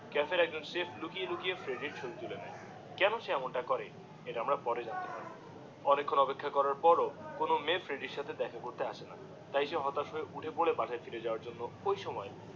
কাফের একজন শেফ লুকিয়ে লুকিয়ে ফ্রেডি এর ছবি তুলে নিয়ে কোনো সে এমন তা করে সেটা আমরা পরে জানতে পারবো অনেক্ষন অপেক্ষা করার পর কোনো মেয়ে ফ্রেডি এর সাথে দেখা করতে আসেনা তাই হতাশ হয়ে উঠে পরে বাড়ির হিরে যাওয়ার জন্যে ওই সময়ে